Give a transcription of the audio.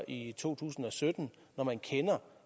i to tusind og sytten når man kender